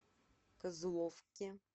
козловке